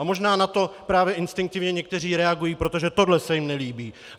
A možná na to právě instinktivně někteří reagují, protože tohle se jim nelíbí.